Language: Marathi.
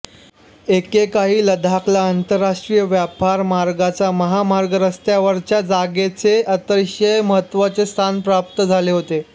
एकेकाळी लडाखला आंतरराष्ट्रीय व्यापार मार्गांच्या महामार्ग रस्त्यावरच्या जागेचे अतिशय महत्त्वाचे स्थान प्राप्त झाले होते